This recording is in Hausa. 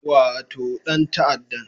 Wato dan ta'addan